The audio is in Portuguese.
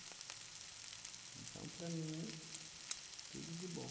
Então, para mim, tudo de bom.